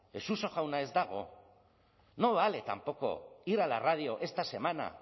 suso jauna ez dago no vale tampoco ir a la radio esta semana